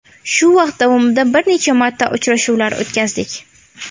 Shu vaqt davomida bir necha marta uchrashuvlar o‘tkazdik.